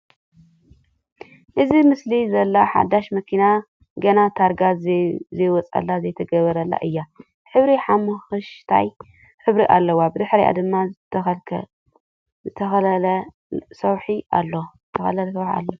እዛ ኣብ ምስሊ ዘላ ሓዳሽ መኪና ገና ታርጋ ዘይወጸላ ( ዘይተገበረላ) እያ። ሕብራ ሓሞኽሽታይ ሕብሪ ኣለዋ። ብድሕሪኣ ድማ ዝተኸለለ ሰዉሒ ኣሎ።